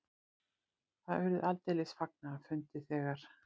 Það urðu aldeilis fagnaðarfundir þegar